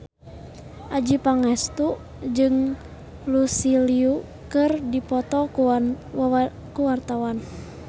Adjie Pangestu jeung Lucy Liu keur dipoto ku wartawan